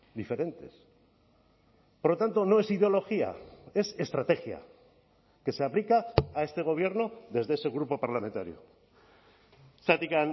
diferentes por lo tanto no es ideología es estrategia que se aplica a este gobierno desde ese grupo parlamentario zergatik